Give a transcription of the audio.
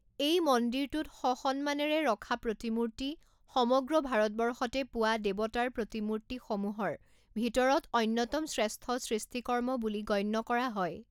এই মন্দিৰটোত স সন্মানেৰে ৰখা প্ৰতিমূৰ্তি সমগ্ৰ ভাৰতবৰ্ষতে পোৱা দেৱতাৰ প্ৰতিমূৰ্তিসমূহৰ ভিতৰত অন্যতম শ্ৰেষ্ঠ সৃষ্টিকৰ্ম বুলি গণ্য কৰা হয়।